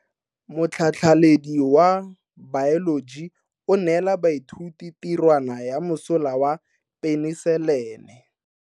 Motlhatlhaledi wa baeloji o neela baithuti tirwana ya mosola wa peniselene.